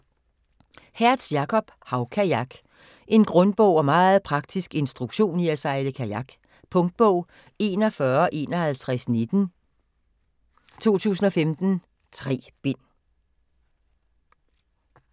Hertz, Jakob: Havkajak En grundig og meget praktisk instruktion i at sejle kajak. Punktbog 415119 2015. 3 bind.